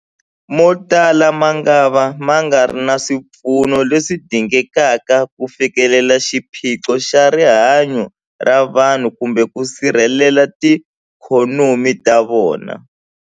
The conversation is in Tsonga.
Motala mangava ma nga ri na swipfuno leswi dingekaka ku fikelela xiphiqo xa rihanyu ra vanhu kumbe ku sirhelela tiikhonomi ta vona.